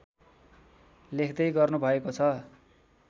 लेख्दै गर्नु भएको छ